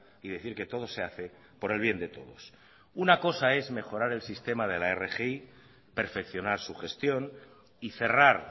y decir que todo se hace por el bien de todos una cosa es mejorar el sistema de la rgi perfeccionar su gestión y cerrar